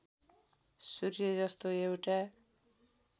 सूर्य जस्तो एउटा